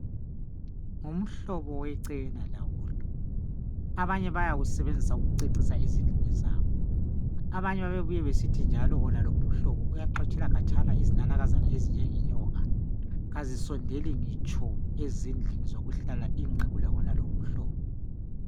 Uhlobo wecena bayawusebenzisa ukucecisa ezindlini zabo bayake bebuye besithi yenalo umhlobo Wonalo umhlobo uyaxotshela khatshana izinanakazana lezinyoko azisondeli ngitsho endlini zokuhlala makulawonalo umhlobo